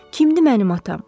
Kimdir mənim atam?